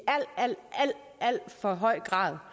alt alt for høj grad